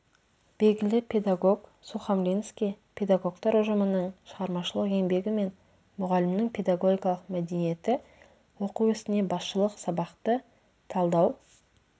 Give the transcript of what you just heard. белгілі педагог сухомлинский педагогтар ұжымының шығармашылық еңбегі мен мұғалімнің педагогикалық мәдениеті оқыту ісіне басшылық сабақты талдау